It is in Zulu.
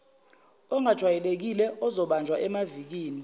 ongajwayelekile ozobanjwa emavikini